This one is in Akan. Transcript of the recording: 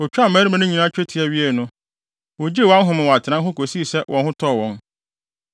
Otwaa mmarima no nyinaa twetia wiei no, wogyee wɔn ahome wɔ atenae hɔ kosii sɛ wɔn ho tɔɔ wɔn.